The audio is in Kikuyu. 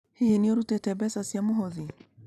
Hihi nĩ ũrutĩte mbeca cia mũhothi?